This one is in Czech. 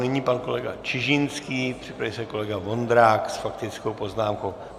Nyní pan kolega Čižinský, připraví se kolega Vondrák s faktickou poznámkou.